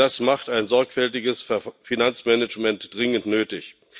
Das macht ein sorgfältiges Finanzmanagement dringend nötig.